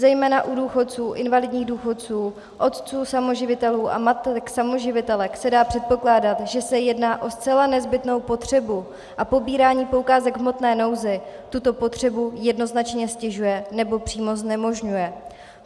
Zejména u důchodců, invalidních důchodců, otců samoživitelů a matek samoživitelek se dá předpokládat, že se jedná o zcela nezbytnou potřebu a pobírání poukázek v hmotné nouzi tuto potřebu jednoznačně ztěžuje, nebo přímo znemožňuje.